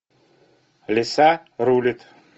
лиса рулит